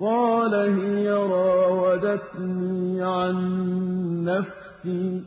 قَالَ هِيَ رَاوَدَتْنِي عَن نَّفْسِي